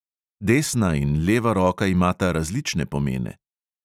Desna in leva roka imata različne pomene.